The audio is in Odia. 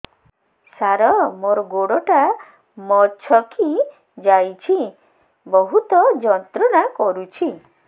ସାର ମୋର ଗୋଡ ଟା ମଛକି ଯାଇଛି ବହୁତ ଯନ୍ତ୍ରଣା କରୁଛି